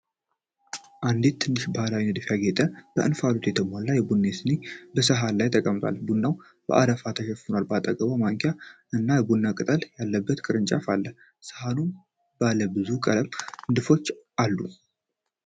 አንዲት ትንሽ፣ በባህላዊ ንድፍ ያጌጠ፣ በእንፋሎት የተሞላች የቡና ሲኒ በሰሃን ላይ ተቀምጣለች። ቡናው በአረፋ ተሸፍኗል። በአጠገቧ ማንኪያ እና የቡና ቅጠል ያለበት ቅርንጫፍ አለ። ሰሃኑም ባለብዙ ቀለም ንድፎች አሉት።